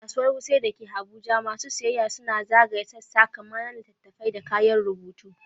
A Kasuwar Wuse da ke Abuja, masu sayayya suna zagaya sassa kamar na littattafai da kayan rubutu.